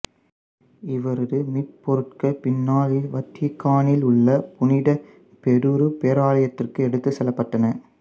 இவரது மீபோருட்கள் பின்நாளில் வத்திக்கானில் உள்ள புனித பேதுரு பேராலயத்திற்கு எடுத்துச்செல்லப்பட்டன